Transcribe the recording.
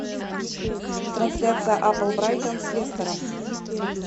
трансляция апл брайтон с лестером